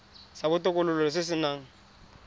sa botokololo se se nang